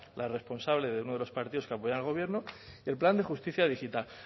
la responsable de uno de los partidos que apoyan el gobierno el plan de justicia digital